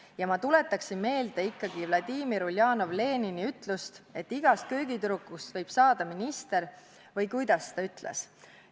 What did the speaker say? Ja ma tuletaksin meelde ikkagi Vladimir Uljanov-Lenini ütlust, et igast köögitüdrukust võib saada minister, või kuidas ta ütles.